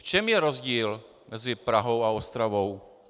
V čem je rozdíl mezi Prahou a Ostravou?